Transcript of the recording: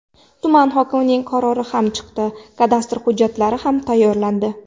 Tuman hokimining qarori ham chiqdi, kadastr hujjatlari ham tayyorlandi.